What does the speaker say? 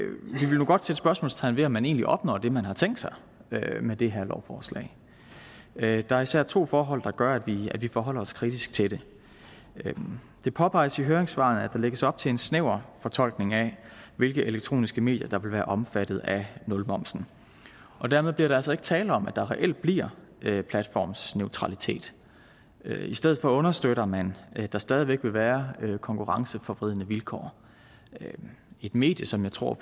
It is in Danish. nu godt sætte spørgsmålstegn ved om man egentlig opnår det man har tænkt sig med det her lovforslag der er især to forhold der gør at vi forholder os kritisk til det det påpeges i høringssvarene at der lægges op til en snæver fortolkning af hvilke elektroniske medier der vil være omfattet af nulmomsen og dermed bliver der altså ikke tale om at der reelt bliver platformsneutralitet i stedet for understøtter man at der stadig væk vil være konkurrenceforvridende vilkår et medie som jeg tror